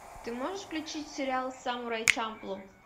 ты можешь включить сериал самурай чамплу